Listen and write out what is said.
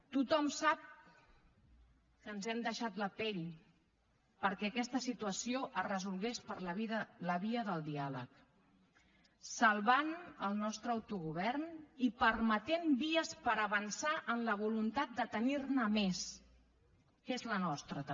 tothom sap que ens hem deixat la pell perquè aquesta situació es resolgués per la via del diàleg salvant el nostre autogovern i permetent vies per avançar en la voluntat de tenirne més que és la nostra també